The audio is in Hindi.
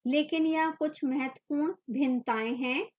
लेकिन यहाँ कुछ महत्वपूर्ण भिन्नताएं हैं